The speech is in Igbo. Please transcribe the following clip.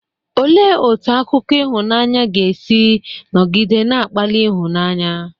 Olee otú akụkọ ịhụnanya ga-esi nọgide na-akpali ịhụnanya?